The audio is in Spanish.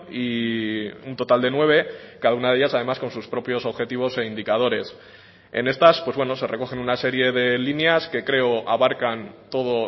y un total de nueve cada una de ellas además con sus propios objetivos e indicadores en estas se recogen una serie de líneas que creo abarcan todo